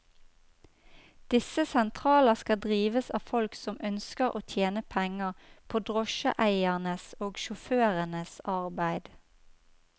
Disse sentraler skal drives av folk som ønsker å tjene penger på drosjeeiernes og sjåførenes arbeid.